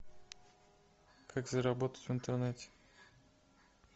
как заработать в интернете